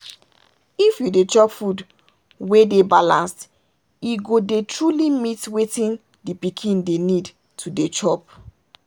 if you dey chop food wey dey balanced e go dey truly meet wetin the pikin dey need to dey chop.